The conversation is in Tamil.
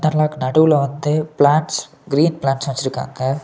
நடுவுல வந்து பிளான்ட்ஸ் கிரீன் பிளான்ட்ஸ் வச்சுருக்காங்க.